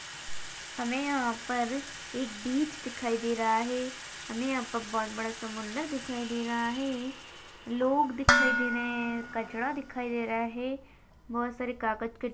हमे यहाँ पर एक बिच दिखाई दे रहा हैं हमे यहाँ पर बहुत बड़ा समंदर दिखाई दे रहा हैं लोग दिखाई दे रहे हैं कचरा दिखाई दे रहा हैं बहुत सारे कागज के--